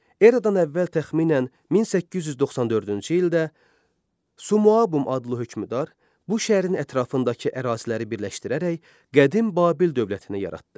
Eradan əvvəl təxminən 1894-cü ildə Sumu-abum adlı hökmdar bu şəhərin ətrafındakı əraziləri birləşdirərək Qədim Babil dövlətini yaratdı.